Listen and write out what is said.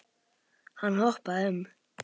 Hann hoppaði upp.